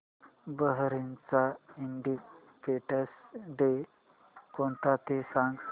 बहारीनचा independence day कोणता ते सांगा